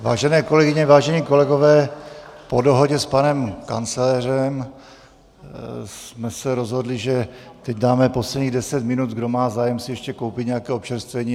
Vážené kolegyně, vážení kolegové, po dohodě s panem kancléřem jsme se rozhodli, že teď dáme posledních deset minut, kdo má zájem si ještě koupit nějaké občerstvení.